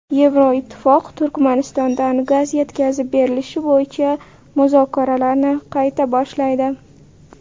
Yevroittifoq Turkmanistondan gaz yetkazib berilishi bo‘yicha muzokaralarni qayta boshlaydi.